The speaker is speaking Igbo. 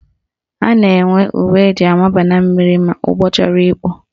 A na-enwe uwe eji amaba na mmiri ma ụgbọ chọrọ ikpu